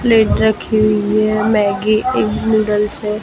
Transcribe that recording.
Plate रखी हुई है मैगी एक नूडल्स हैं।